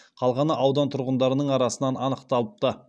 қалғаны аудан тұрғындарының арасынан анықталыпты